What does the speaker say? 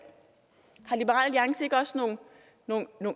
har liberal alliance ikke også nogle